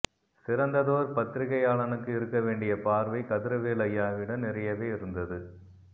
சிறந்ததோர் பத்திரிகையாளனுக்கு இருக்க வேண்டிய பார்வை கதிரவேலு ஐயாவிடம் நிறையவே இருந்தது